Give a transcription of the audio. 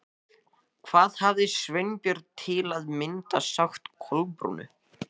Hvað hafði Sveinbjörn til að mynda sagt Kolbrúnu?